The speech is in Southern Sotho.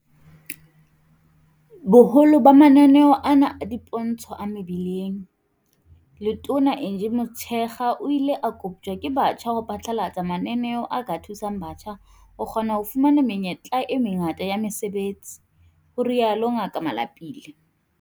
Ho boholo ba mananeo ana a dipontsho a mebileng, Letona Angie Motshekga o ile a koptjwa ke batjha ho phatlalatsa mananeo a ka thusang batjha ho kgona ho fumana menyetla e mengata ya mesebetsi, ho rialo Ngaka Malapile.